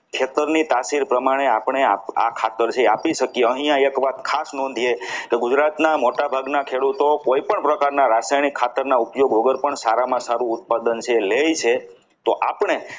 હેક્ટરની તાસીલ પ્રમાણે આપણે આપણા આ ખાતર જે આપી શકીએ અહીંયા એક વાત ખાસ નોંધે કે ગુજરાતના મોટાભાગના ખેડૂતો કોઈ પણ પ્રકારના રાસાયણિક ખાતરના ઉપયોગ વગર પણ સારામાં સારું ઉત્પાદન જે છે એ લે છે તો આપણે